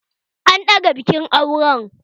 An daga bikin auren